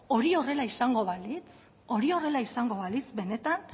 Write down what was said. hori horrela izango balitz hori horrela izango balitz benetan